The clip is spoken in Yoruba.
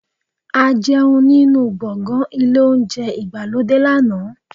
A jẹun nínú gbọ̀ngàn ilé Ohunjẹ́ ìgbàlódé lánàá